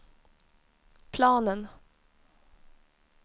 planen